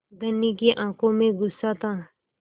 धनी की आँखों में गुस्सा था